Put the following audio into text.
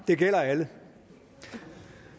det gælder alle